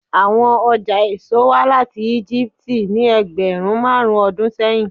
Awọn ọja eso wa lati Egipti ni ẹgbẹrun marun ọdun sẹyin